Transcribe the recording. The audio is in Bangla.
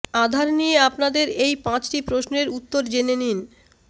আধার নিয়ে আপনাদের এই পাঁচটি প্রশ্নের উত্তর জেনে নিন